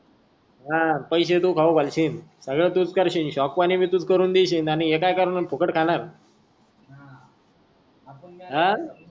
हा पैसे तू खाऊ घालशील सगळं तूच करशील शॉक पाणी पण तू करून देशील आणि हे काई करणार फुकट खाणार हा